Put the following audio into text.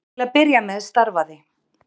Til að byrja með starfaði